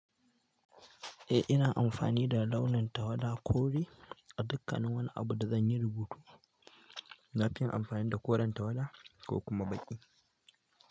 Eh, ina amfani da launin tawada kore a dukkanin wani abu da zan yi rubutu. Nafi yin amfani da koren tawada ko kuma baƙi.